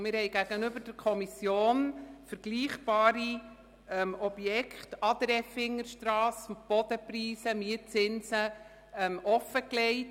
Wir haben gegenüber der Kommission vergleichbare Objekte an der Effingerstrasse mit den Mietzinsen und Bodenpreisen offengelegt.